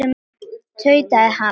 tautaði hann.